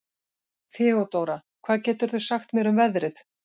Þeódóra, hvað geturðu sagt mér um veðrið?